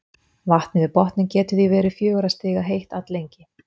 Vatnið við botninn getur því verið fjögurra stiga heitt alllengi.